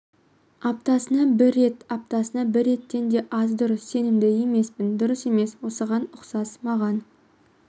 аптасына бір рет аптасына бір реттен де аз дұрыс сенімді емеспін дұрыс емес осыған ұқсас маған